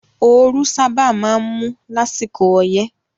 Ooru sábà máa ń mú lásìkò ọyẹ́